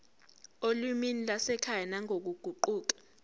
olimini lwasekhaya nangokuguquka